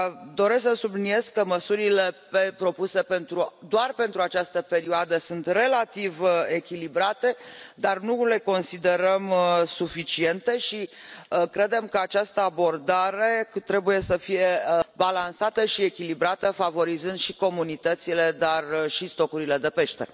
Doresc să subliniez că măsurile propuse doar pentru această perioadă sunt relativ echilibrate, dar nu le considerăm suficiente și credem că această abordare trebuie să fie balansată și echilibrată, favorizând și comunitățile, dar și stocurile de pește.